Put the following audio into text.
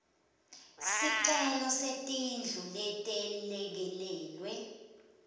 sicelo setindlu letelekelelwe